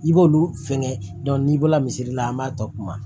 I b'olu fɛngɛ n'i bɔra misiri la an b'a tɔ kuma